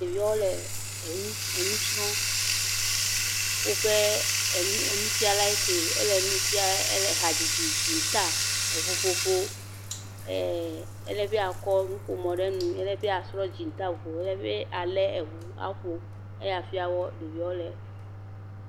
Ɖeviewo le enu srɔ̃m, woƒe enufiala ŋke, ele hadzidzi, dzinta, ŋuƒoƒo, ee ele be akɔ nuƒomɔ ɖe nu, ele asrɔ̃ dzinta, ŋu elebe alebe eŋu, aƒo eya srɔ̃ ɖeviɔ le.